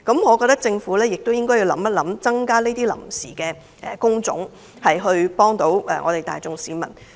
我認為，政府應認真考慮增加這些臨時職位，協助大眾市民。